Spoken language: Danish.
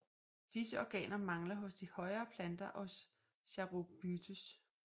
Disse organer mangler hos de højere planter og hos charophytes